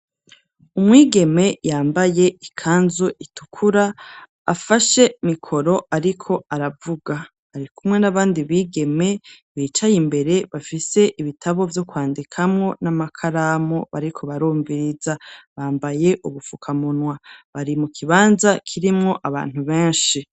Umwigeme yambaye ikanzu itukura ,afashe mikoro ariko aravuga, ari kumwe n'abandi bigeme bicaye imbere bafise ibitabo vyo kwandikamwo n'amakaramu bariko barumviriza ,bambaye ubufukamunwa, bari mu kibanza kirimwo abantu benshi.